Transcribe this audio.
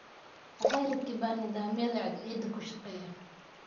Waxay rakibeen nidaamyada cadceedda kushaaqeya.